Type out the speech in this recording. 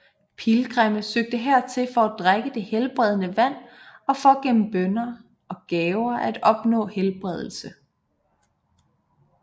Pilgrimme søgte hertil for at drikke det helbredende vand og for gennem bønner og gaver at opnå helbredelse